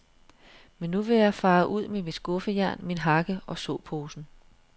Men nu vil jeg fare ud med mit skuffejern, min hakke og såposen.